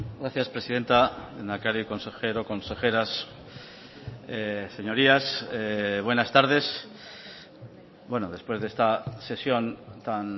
gracias presidenta lehendakari consejero consejeras señorías buenas tardes bueno después de esta sesión tan